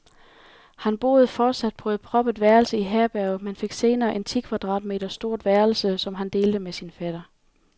Han boede fortsat på et proppet værelse i herberget, men fik senere et ti kvadratmeter stort værelse, som han delte med sin fætter.